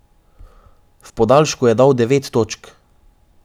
V podaljšku je dal devet točk.